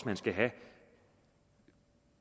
man skal have